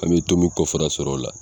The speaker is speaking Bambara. An bɛ to min kɔfara sɔrɔ o la.